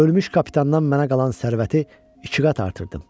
Ölmüş kapitandan mənə qalan sərvəti iki qat artırdım.